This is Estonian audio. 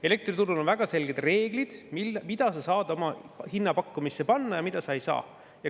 Elektriturul on väga selged reeglid, mida saab hinnapakkumisse panna ja mida ei saa.